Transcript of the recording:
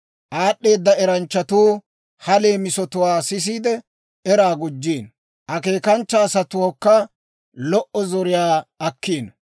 Aad'd'eeda eranchchatuu ha leemisatwaa sisiide, eraa gujjiino; akeekanchcha asatuukka lo"o zoriyaa akkiino.